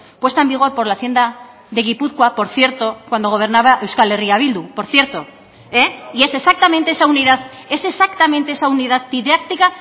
puesta en vigor por la hacienda de gipuzkoa por cierto cuando gobernaba euskal herria bildu por cierto y es exactamente esa unidad es exactamente esa unidad didáctica